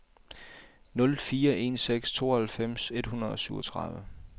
nul fire en seks tooghalvfems et hundrede og syvogtredive